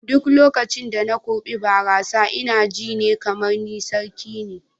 A duk lokacin da na kurɓa barasa ina ji ne kamar ni sarki ne.